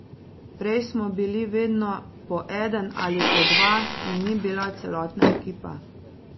Prej smo bili vedno po eden ali po dva in ni bila celotna ekipa.